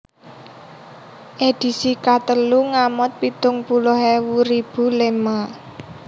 Edisi katelu ngamot pitung puluh ewu ribu lema